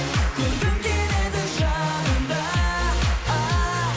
көргім келеді жанымда ааа